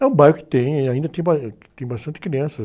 É um bairro que, ainda tem ba, que tem bastante crianças.